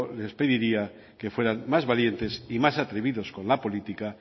les pediría que fueran más valientes y más atrevidos con la política